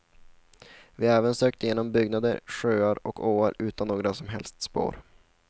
Vi har även sökt igenom byggnader, sjöar och åar utan några som helst spår.